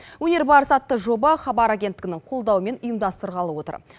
өнер барысы атты жоба хабар агенттігінің қолдауымен ұйымдастырылғалы отыр